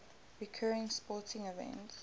recurring sporting events